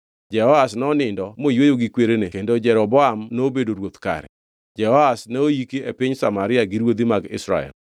Jehoash nonindo moyweyo gi kwerene kendo Jeroboam nobedo ruoth kare. Jehoash noiki e piny Samaria gi ruodhi mag Israel.